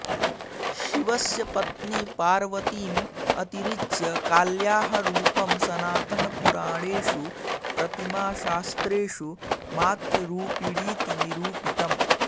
शिवस्य पत्नी पार्वतीम् अतिरिच्य काल्याः रूपं सनातनपुराणेषु प्रतिमाशास्त्रेषु मातृरूपिणीति निरूपितम्